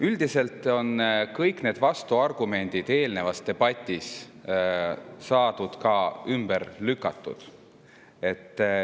Üldiselt on kõik need vastuargumendid eelnevas debatis ümber lükatud.